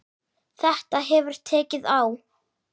Þetta hefur tekið á.